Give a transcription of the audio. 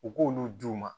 U k'olu d'u ma